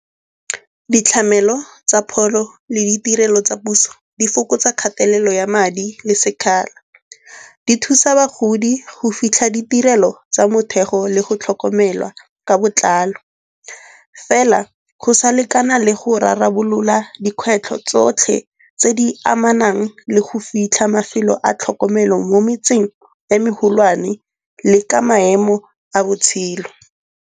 Ditlamelo tsa pholo le ditirelo tsa puso di fokotsa kgatelelo ya madi le sekgala. Di thusa bagodi go fitlha ditirelo tsa mothego le go tlhokomelwa ka botlalo. Fela go sa lekana le go rarabolola dikgwetlho tsotlhe tse di amanang le go fitlha mafelo a tlhokomelo mo metseng e megolwane le ka maemo a botshelo.